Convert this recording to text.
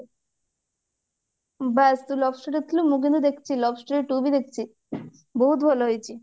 ବାସ୍ ତୁ love story ଦେଖିଥିଲୁ ମୁଁ କିନ୍ତୁ ଦେଖିଛି love story two ବି ଦେଖଛି ବହୁତ ଭଲ ହେଇଛି